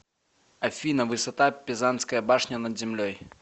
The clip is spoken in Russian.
афина высота пизанская башня над землей